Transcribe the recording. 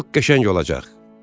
Çox qəşəng olacaq.